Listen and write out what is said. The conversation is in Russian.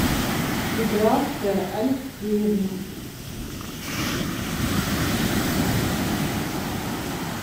миграция алексеевна